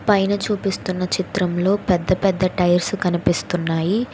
పైన చూపిస్తున్న చిత్రంలో పెద్దపెద్ద టైర్స్ కనిపిస్తున్నాయి.